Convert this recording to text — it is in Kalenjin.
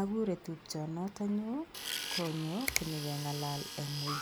Akure tupchonoto nyu konyo konyekengalal eng ui